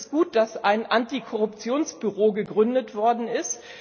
Es ist gut, dass ein Antikorruptionsbüro gegründet worden ist.